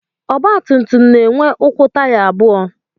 Ọgbatumtum na-enwe ụkwụ taya abụọ